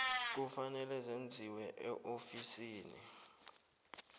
kufanele zenziwe eofisini